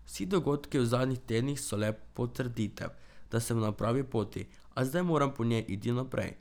Vsi dogodki v zadnjih tednih so le potrditev, da sem na pravi poti, a zdaj moram po njej iti naprej.